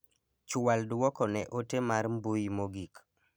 Chual duoko ne ote mar mbui mogik.